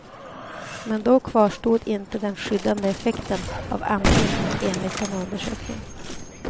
Men då kvarstod inte den skyddande effekten av amning, enligt denna undersökning.